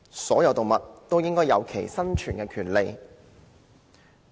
所有動物均應享有生存的權利。